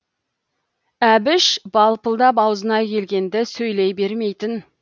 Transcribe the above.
әбіш балпылдап аузына келгенді сөйлей бермейтін